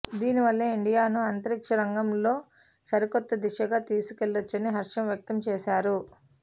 దీని వల్ల ఇండియాను అంతరిక్ష రంగంలో సరికొత్త దిశగా తీసుకెళ్లొచ్చని హర్షం వ్యక్తం చేశారు